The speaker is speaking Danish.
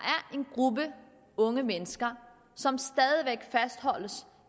en gruppe unge mennesker som stadig væk fastholdes